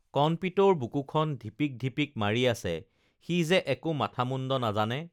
কণপিতৌৰ বুকুখন ঢিপিক ঢিপিক মাৰি আছে সি যে একো মাথা মুণ্ড নাজানে